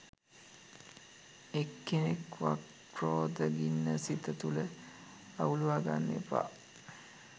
එක්කෙනෙක් වත්ක්‍රෝධ ගින්න මේ සිත තුළ අවුලූවා ගන්න එපා